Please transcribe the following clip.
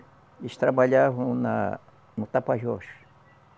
Eles trabalhavam na no Tapajós.